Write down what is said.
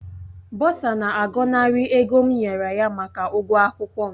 Bọsa na-agọnarị ego m nyere ya maka ụgwọ akwụkwọ m